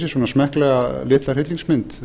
svona smekklega litla hryllingsmynd